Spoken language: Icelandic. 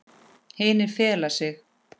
Hinir fela sig.